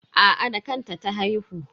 Aa da kanta ta haihu.